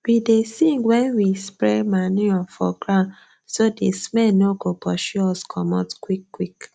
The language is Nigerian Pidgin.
we dey sing wen we spread manure for ground so the smell no go pursue us comot qik qik